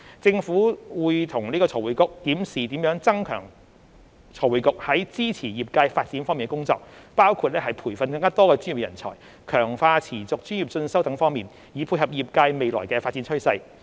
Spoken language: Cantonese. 政府會與財匯局檢視如何增強財匯局在支持業界發展方面的工作，包括培訓更多專業人才、強化持續專業進修等方面，以配合業界未來的發展趨勢。